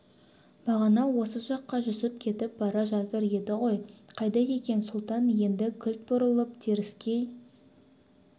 бағана осы жаққа жүсіп кетіп бара жатыр еді ғой қайда екен сұлтан енді кілт бұрылып теріскей